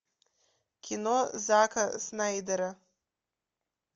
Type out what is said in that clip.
кино зака снайдера